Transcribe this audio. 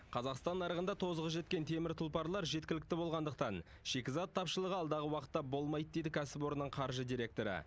қазақстан нарығында тозығы жеткен темір тұлпарлар жеткілікті болғандықтан шикізат тапшылығы алдағы уақытта болмайды дейді кәсіпорынның қаржы директоры